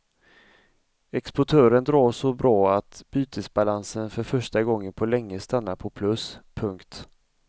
Exporten drar så bra att bytesbalansen för första gången på länge stannar på plus. punkt